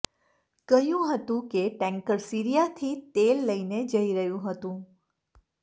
કહ્યું હતું કે ટેન્કર સીરિયાથી તેલ લઇને જઇ રહ્યું હતું